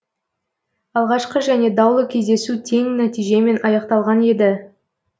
алғашқы және даулы кездесу тең нәтижемен аяқталған еді